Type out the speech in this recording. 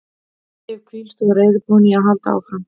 Ég hef hvílst og er reiðubúinn í að halda áfram.